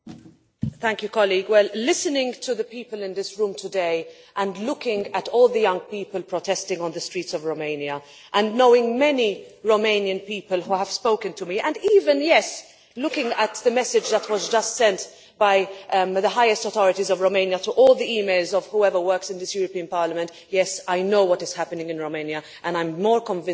Listening to the people in this room today and looking at all the young people protesting on the streets of Romania, knowing many Romanian people, who have spoken to me and even, yes, looking at the message that was just sent by the highest authorities in Romania to all the email addresses of those working in this Parliament yes, I know what is happening in Romania, and I am more convinced than ever of what I have just said.